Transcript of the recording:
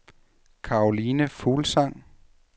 Caroline Fuglsang